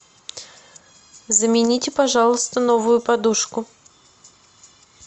замените пожалуйста новую подушку